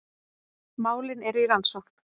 Málin eru í rannsókn